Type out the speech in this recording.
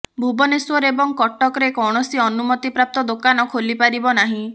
ଭୁବନେଶ୍ୱର ଏବଂ କଟକରେ କୌଣସି ଅନୁମତିପ୍ରାପ୍ତ ଦୋକାନ ଖୋଲି ପାରିବ ନାହିଁ